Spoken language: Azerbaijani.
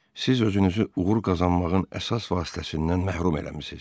Siz özünüzü uğur qazanmağın əsas vasitəsindən məhrum eləmisiniz.